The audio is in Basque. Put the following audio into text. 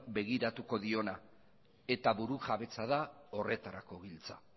begiratuko diona eta burujabetza da horretarako giltza